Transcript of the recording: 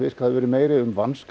hafa verið meira um